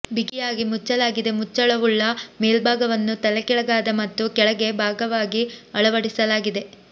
ಬಿಗಿಯಾಗಿ ಮುಚ್ಚಲಾಗಿದೆ ಮುಚ್ಚಳವುಳ್ಳ ಮೇಲ್ಭಾಗವನ್ನು ತಲೆಕೆಳಗಾದ ಮತ್ತು ಕೆಳಗೆ ಭಾಗವಾಗಿ ಅಳವಡಿಸಲಾದ